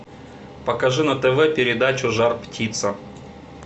покажи на тв передачу жар птица